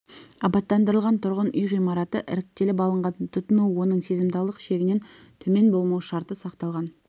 абаттандырылған тұрғын үй ғимараты іріктеліп алынған тұтыну оның сезімталдық шегінен төмен болмау шарты сақталған